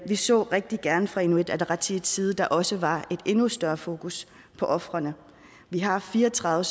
vi så rigtig gerne fra inuit ataqatigiits side at der også var et endnu større fokus på ofrene vi har fire og tredive